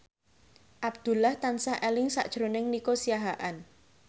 Abdullah tansah eling sakjroning Nico Siahaan